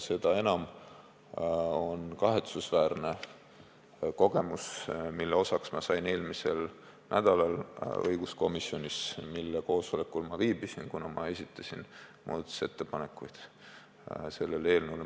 Seda enam kahetsusväärne on kogemus, mille osaks ma sain eelmisel nädalal õiguskomisjoni koosolekul viibides, kuna olin selle eelnõu kohta muudatusettepanekuid esitanud.